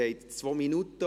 Sie haben 2 Minuten.